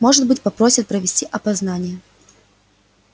может быть попросят провести опознание